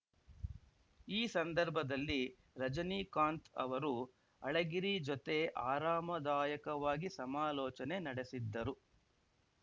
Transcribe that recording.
ಈ ಸಂದರ್ಭದಲ್ಲಿ ರಜನೀಕಾಂತ್‌ ಅವರು ಅಳಗಿರಿ ಜೊತೆ ಆರಾಮದಾಯಕವಾಗಿ ಸಮಾಲೋಚನೆ ನಡೆಸಿದ್ದರು